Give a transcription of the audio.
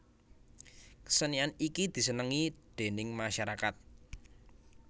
Kesenian iki desenengi déning masyarakat